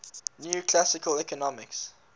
new classical economics